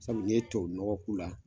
Sabu ni ye tubabu nɔgɔ k'u la